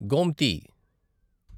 Gomti